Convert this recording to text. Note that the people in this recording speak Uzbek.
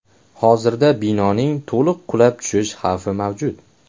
Hozirda binoning to‘liq qulab tushish xavfi mavjud.